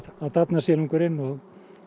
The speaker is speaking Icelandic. þá dafnar silungurinn og